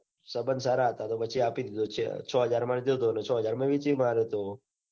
સંબંદ સારા હતા. તો પછી આપી દીધો ચ હાજર માં લીધો તો. ને ચ હાજર માં વેચીએ માર્યો તો.